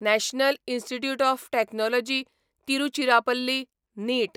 national institute of technology Tiruchirappalli नीट